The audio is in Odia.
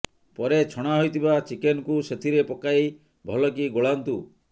ପରେ ଛଣା ହୋଇଥିବା ଚିକେନକୁ ସେଥିରେ ପକାଇ ଭଲକି ଗୋଳାନ୍ତୁ